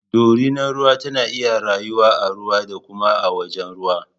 Dorinar ruwa tana iya rayuwa a ruwa da kuma a wajen ruwa